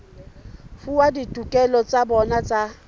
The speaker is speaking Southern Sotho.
fuwa ditokelo tsa bona tsa